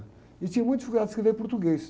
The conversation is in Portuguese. E tinha muito dificuldade de escrever português.